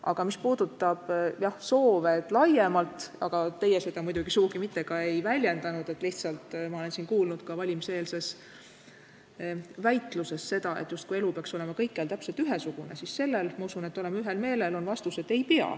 Aga mis puudutab laiemalt soove – teie neid muidugi sugugi mitte ei väljendanud, lihtsalt ma olen neid kuulnud ka valimiseelses väitluses –, et elu peaks justkui olema kõikjal täpselt ühesugune, siis selles, ma usun, me oleme ühel meelel, et ei pea.